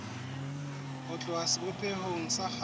ho tloha sebopehong sa kgale